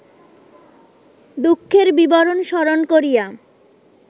দুঃখের বিবরণ স্মরণ করিয়া